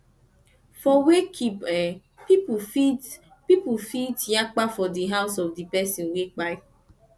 for wakekeep eh pipo fit pipo fit yakpa for di house of di pesin wey kpai